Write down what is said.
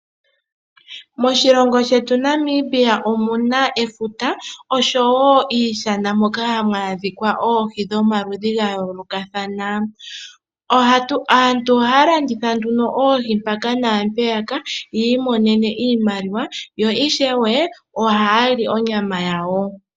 Moshilongo shetu Namibia omuna efuta noshowo iishana moka hamu adhika oohi dhomaludhi ga yoolokathana, aantu ohaya landitha nduno oohi mpaka naa mpeyaka yi imonene iimaliwa yo ishewe ohaya li onyama yawo.